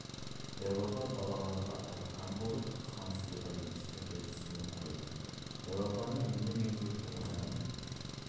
дәу апа балаларға айтқан болып хансұлуға естірте түсіне қойды дәу апаның нені меңзеп тұрғанын